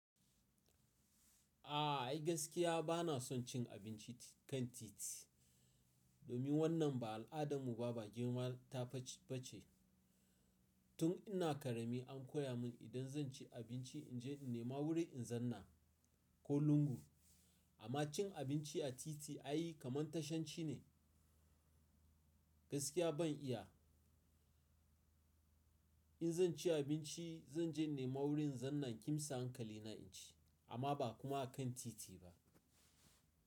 A ai gaskiya bana son cin abinci kan titi, domin wannan ba al'adarmu ba, ba girma ta face ba ce. Tun ina ƙarami an koya mun idan zan ci abinci in je in nema wurin in zanna ko lungu. Amma cin abinci a titi ai kamar tashanci ne, gaskiya ban iya. In zan ci abinci zan je nema wurin zanna kimsa hankalina in ci amma ba kuma a kan titi ba.